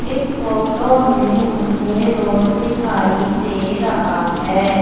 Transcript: इस फोटो में मुझे रोड दिखाई दे रहा हैं।